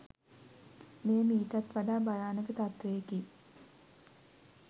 මෙය මීටත් වඩා භයානක තත්වයකි